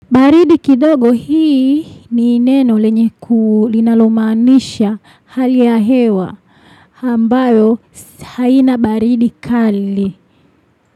Baridi kidogo hii ni neno lenye linalomanisha hali hewa ambayo haina baridi kali.